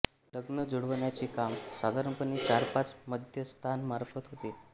लग्न जुळवण्याचे काम साधारणपणे चार पाच मध्यस्थांमार्फत होते